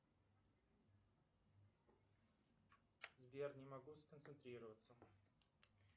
сбер не могу сконцентрироваться